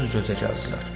Göz-gözə gəldilər.